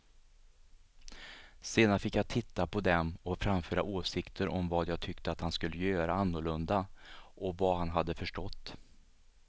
Sedan fick jag titta på dem och framföra åsikter om vad jag tyckte att han skulle göra annorlunda och vad han hade förstått.